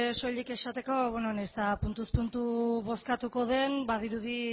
soilik esateko bueno nahiz eta puntuz puntu bozkatuko den badirudi